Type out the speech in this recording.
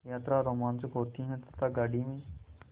यात्रा रोमांचक होती है तथा गाड़ी में